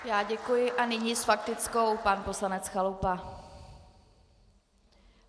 Já děkuji a nyní s faktickou pan poslanec Chalupa.